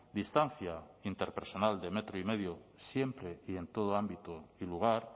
distancia interpersonal de metro y medio siempre y en todo ámbito y lugar